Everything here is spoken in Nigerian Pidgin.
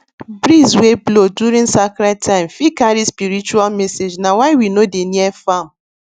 breeze wey blow during sacred time fit carry spiritual messagena why we no dey near farm